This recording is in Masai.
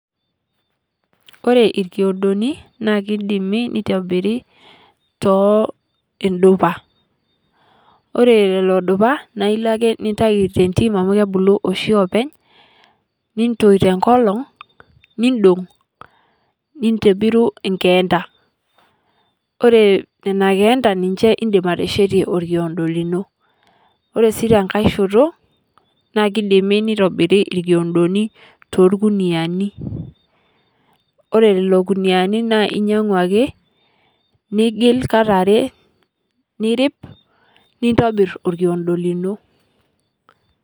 Ore irkiodoni naa kidimi nitobiri too indupa ore lelo dupa naa ilo ake nintai tentim amu kebulu oshi oopeny nintoi tenkolong nindong nintibiru inkeenta ore nena keenta ninche indim ateshetie orkiondo lino ore sii tenkae shoto naa kidimi nitobiri irkiondoni torkuniyiani ore lelo kuniani naa inyiang'u ake nigil kata are nirip nintobirr orkiondo lino.